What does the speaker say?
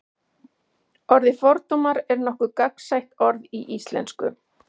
orðið fordómar er nokkuð gagnsætt orð í íslensku